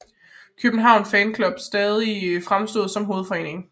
København Fan Club stadig fremstod som hovedforeningen